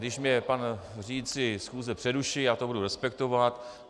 Když mě pan řídící schůze přeruší, já to budu respektovat.